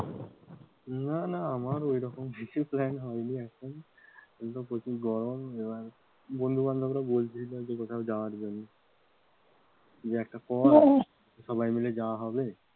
না না আমার অরকম কিছু plan হয়নি এখন এমনিতেও প্রচুর গরম, বন্ধু বান্ধবরা বলছিল কোথাও যাওয়ার জন্য যে একটা সবাই মিলে যাওয়া হবে,